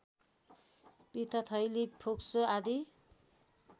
पित्तथैली फोक्सो आदि